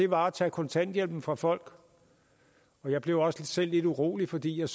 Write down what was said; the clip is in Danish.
var at tage kontanthjælpen fra folk jeg blev også selv lidt urolig fordi jeg